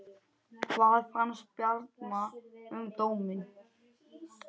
Hvað fannst Bjarna um dóminn?